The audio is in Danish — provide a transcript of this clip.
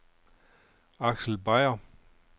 Aksel Beyer